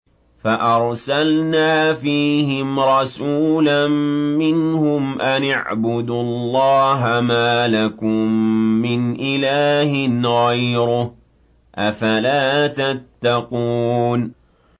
فَأَرْسَلْنَا فِيهِمْ رَسُولًا مِّنْهُمْ أَنِ اعْبُدُوا اللَّهَ مَا لَكُم مِّنْ إِلَٰهٍ غَيْرُهُ ۖ أَفَلَا تَتَّقُونَ